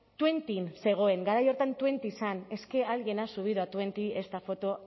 tuentin zegoen garai hartan tuenti zen es que alguien ha subido a tuenti esta foto